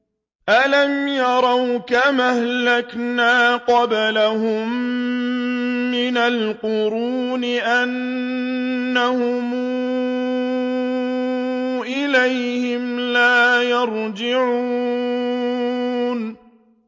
أَلَمْ يَرَوْا كَمْ أَهْلَكْنَا قَبْلَهُم مِّنَ الْقُرُونِ أَنَّهُمْ إِلَيْهِمْ لَا يَرْجِعُونَ